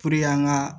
Puruke an ka